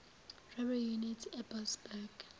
robbery unit eboksburg